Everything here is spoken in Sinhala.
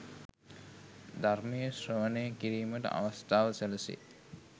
ධර්මය ශ්‍රවණය කිරීමට අවස්ථාව සැලසේ.